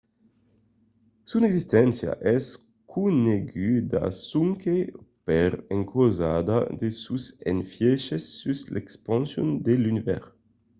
son existéncia es coneguda sonque per encausa de sos efièches sus l’expansion de l’univèrs